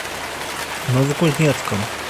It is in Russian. новокузнецком